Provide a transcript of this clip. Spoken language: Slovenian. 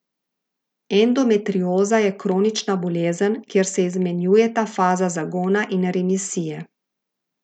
Endometrioza je kronična bolezen, kjer se izmenjujeta fazi zagona in remisije.